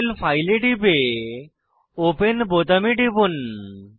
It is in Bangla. alanineমল ফাইলে টিপে ওপেন বোতামে টিপুন